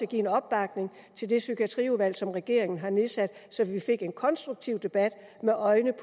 give opbakning til det psykiatriudvalg som regeringen har nedsat så vi fik en mere konstruktiv debat med øjnene